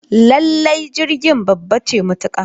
Lallai jirgin babba ce matuka